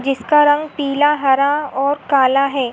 जिसका रंग पीला हरा और काला हैं।